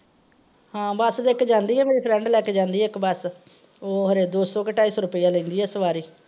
ਹਾਂ ਬੱਸ ਇੱਕ ਜਾਂਦੀ ਆ, ਮੇਰੀ friend ਲੈ ਕੇ ਜਾਂਦੀ ਏ ਬੱਸ ਉਹ ਹਰੇ ਦੋ ਸੌ ਕੇ ਢਾਈ ਸੌ ਰੁਪਈਆ ਲੈਂਦੀ ਆ ਸਵਾਰੀ।